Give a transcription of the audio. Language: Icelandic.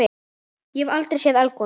Ég hef aldrei séð eldgos.